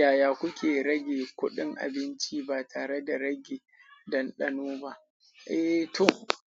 Yaya kuke rage kuɗin abinci ba tare da rage dandano ba? Eh to,